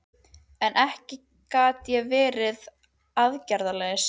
En ekki gat ég verið aðgerðalaus.